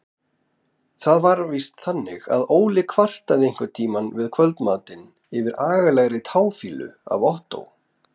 Það var víst þannig að Óli kvartaði einhverntíma við kvöldmatinn yfir agalegri táfýlu af Ottó.